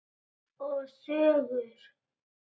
Og sögur.